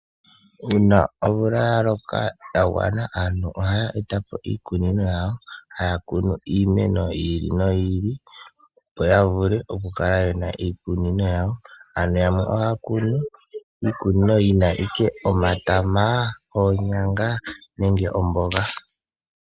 Uuna omvula ya loka ya gwana aantu ohaya eta po iikunino yawo haya kunu iimeno yi ili noyi ili opo ya vule okukala yena iikunino yawo. Yamwe ohaya kunu iikunino yina owala omatama, oonyanga nenge omboga.